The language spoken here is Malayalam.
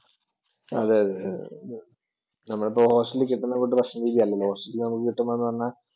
അതെ അതെ നമ്മൾക്ക് hostel ൽ കിട്ടുന്ന ഭക്ഷണ രീതിയല്ലല്ലോ, Hostel ൽ നമുക്ക് കിട്ടുന്നതെന്നു പറഞ്ഞാൽ